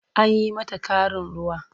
An yi mata ƙarin ruwa.